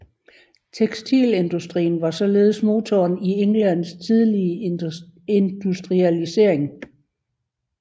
Tekstilindustrien var således motoren i Englands tidlige industrialisering